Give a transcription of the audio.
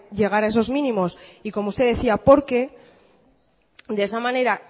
llegar a esos mínimos y como usted decía porque de esa manera